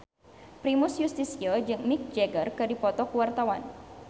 Primus Yustisio jeung Mick Jagger keur dipoto ku wartawan